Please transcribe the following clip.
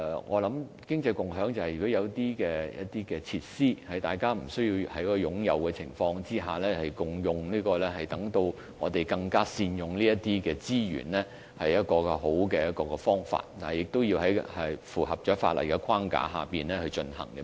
我想經濟共享就是，如果有一些設施並非每一個人均須擁有，而是大家可以共用，我們便應更加善用這些資源，這是一個好方法，但需要在符合法例的框架下進行。